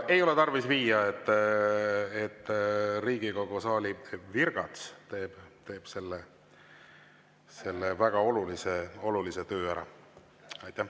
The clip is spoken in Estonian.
Ei ole tarvis viia, Riigikogu saali virgats teeb selle väga olulise töö ära.